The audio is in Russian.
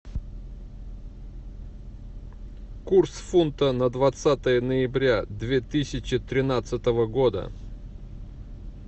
курс фунта на двадцатое ноября две тысячи тринадцатого года